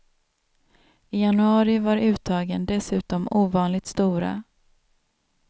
I januari var uttagen dessutom ovanligt stora.